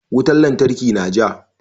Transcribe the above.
Wutan lantarki na ja.